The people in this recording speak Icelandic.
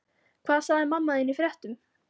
Hvað sagði mamma þín í fréttum?